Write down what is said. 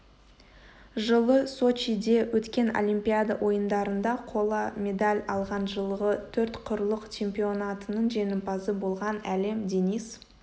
жылы сочиде өткен олимпиада ойындарында қола медаль алған жылғы төрт құрлық чемпионатының жеңімпазы болған әлем денис